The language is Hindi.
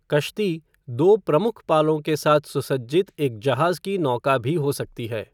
कश्ती दो प्रमुख पालों के साथ सुसज्जित एक जहाज की नौका भी हो सकती है ।